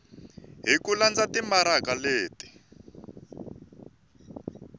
hi ku landza timaraka leti